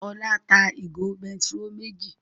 Ọlá tá ìgò pẹtírólù méjì.